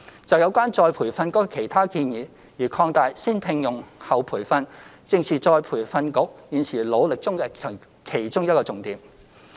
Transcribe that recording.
就有關再培訓局的其他建議，如擴大"先聘用、後培訓"計劃，正是再培訓局現時努力中的重點之一。